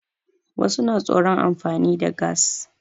Wasu na tsoron amfani da gas.